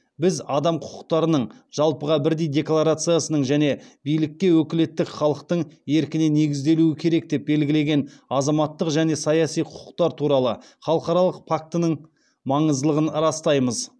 біз адам құқықтарының жалпыға бірдей декларациясының және билікке өкілеттік халықтың еркіне негізделуі керек деп белгілеген азаматтық және саяси құқықтар туралы халықаралық пактінің маңыздылығын растаймыз